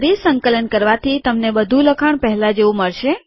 ફરી સંકલન કરવાથી તમને બધું લખાણ પહેલા જેવું મળશે